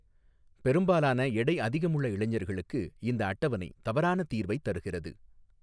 பெரும்பாலான எடை அதிகமுள்ள இளைஞர்களுக்கு இந்தஅட்டவணை தவறான தீர்வை தருகிறது.